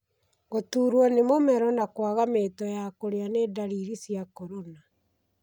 Gũturwo nĩ mũmero na kwaga mĩto ya kũria ni ndariri cia corona.